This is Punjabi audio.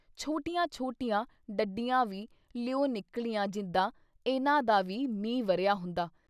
ਛੋਟੀਆਂ-ਛੋਟੀਆਂ ਡੱਡੀਆਂ ਵੀ ਲਿਉ ਨਿਕਲੀਆਂ ਜਿੱਦਾਂ ਇਨ੍ਹਾਂ ਦਾ ਵੀ ਮੀਂਹ ਵਰ੍ਹਿਆ ਹੁੰਦਾ।